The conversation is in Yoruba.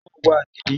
Íṣo náà wá níbi